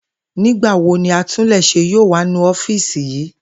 Nígba wo ni atúnlés̩é yóò wá nu ó̩fíìsì yìí?